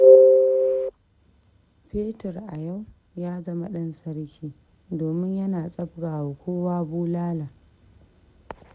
Fetur a yau ya zama ɗan sarki, domin yana tsabga wa kowa bulala.